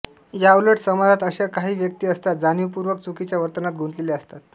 याउलट समाजात अशा काही व्यक्ती असतात जाणीवपूर्वक चुकीच्या वर्तनात गुंतलेल्या असतात